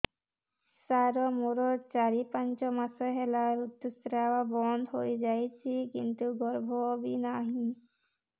ସାର ମୋର ଚାରି ପାଞ୍ଚ ମାସ ହେଲା ଋତୁସ୍ରାବ ବନ୍ଦ ହେଇଯାଇଛି କିନ୍ତୁ ଗର୍ଭ ବି ନାହିଁ